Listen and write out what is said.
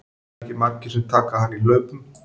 Það eru ekki margir sem taka hann í hlaupum.